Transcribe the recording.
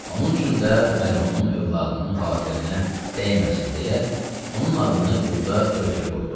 Onun üçün də mərhumun övladının xatirinə dəyməsin deyə onun adını burda örtülü qoyduq.